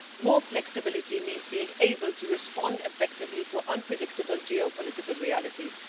More flexibility means being able to respond effectively to unpredictable geopolitical realities.